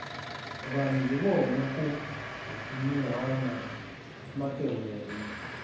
vanhu hi vona ku nuhwana makehele